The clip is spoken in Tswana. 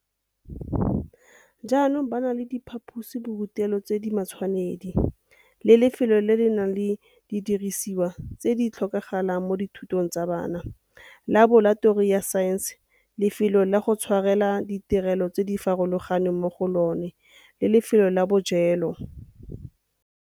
jaanong ba na le diphaposiborutelo tse di matshwanedi le lefelo le le nang le didirisiwa tse di tlhokagalang mo dithutong tsa bona, laboratori ya saense, lefelo la go tshwarela ditirelo tse di farologaneng mo go lona le lefelo la bojelo.